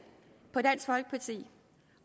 på dansk folkeparti